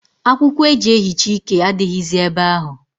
Akw ụkwọ eji ehicha ike adịghịzị ebe ahụ.